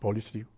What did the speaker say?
Paulista, digo.